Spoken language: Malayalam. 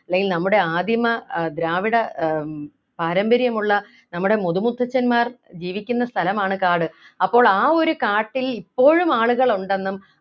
അല്ലെങ്കിൽ നമ്മുടെ ആദിമ ആഹ് ദ്രാവിഡ ആഹ് പാരമ്പര്യമുള്ള നമ്മുടെ മുതുമുത്തശ്ശന്മാർ ജീവിക്കുന്ന സ്ഥലമാണ് കാട് അപ്പോൾ ആ ഒരു കാട്ടിൽ ഇപ്പോഴും ആളുകൾ ഉണ്ടെന്നും